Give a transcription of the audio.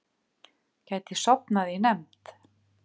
Gæti sofnað í nefnd